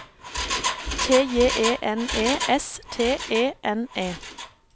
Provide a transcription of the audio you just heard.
T J E N E S T E N E